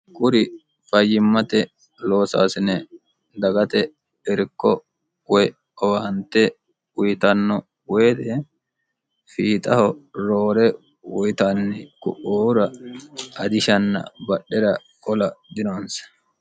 Kuri fayyimmate loosaasine dagate irko woy owaante uyitanno woyite fiixaho roore uyitanni ku'uura ajishanna badhera qola dinonse.